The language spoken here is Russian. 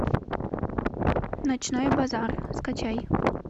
ночной базар скачай